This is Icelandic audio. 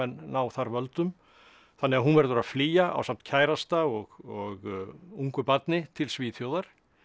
ná þar völdum þannig að hún verður að flýja ásamt kærasta og ungu barni til Svíþjóðar